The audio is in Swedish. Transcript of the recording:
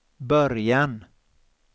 början